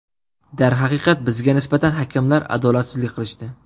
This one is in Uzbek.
Darhaqiqat, bizga nisbatan hakamlar adolatsizlik qilishdi.